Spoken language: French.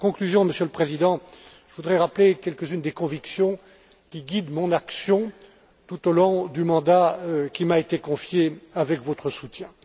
En conclusion, Monsieur le Président, je voudrais rappeler quelques unes des convictions qui guident mon action tout au long du mandat qui m'a été confié avec votre soutien.